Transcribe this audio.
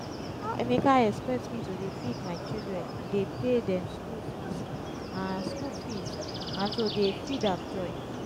how emeka expect me to dey feed my children dey pay dem school fees and school fees and to dey feed am join